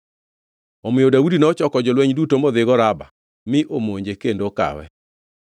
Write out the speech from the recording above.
Omiyo Daudi nochoko jolweny duto modhigo Raba mi omonje kendo okawe.